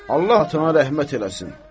Allah atana rəhmət eləsin.